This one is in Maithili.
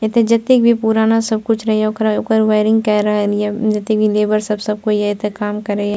एते जेते भी पुराना सब कुछ रियो ओकरा ओकर वायरिंग कर रहलियो जेते भी लेबर सब सब कोई आए त काम करिए।